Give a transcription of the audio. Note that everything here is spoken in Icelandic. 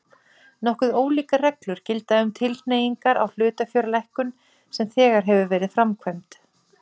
Nokkuð ólíkar reglur gilda um tilkynningar á hlutafjárlækkun sem þegar hefur verið framkvæmd.